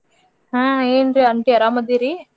ಹಾ ಏನ್ರಿ aunty ಅರಾಮದೀರಿ?